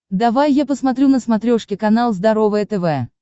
давай я посмотрю на смотрешке канал здоровое тв